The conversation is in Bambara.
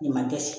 Nin man dɛsɛ